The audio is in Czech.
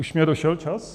Už mně došel čas?